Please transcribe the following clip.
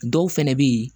Dɔw fɛnɛ be yen